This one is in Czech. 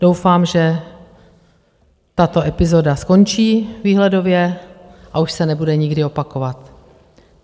Doufám, že tato epizoda skončí výhledově, a už se nebude nikdy opakovat.